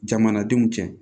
Jamanadenw cɛ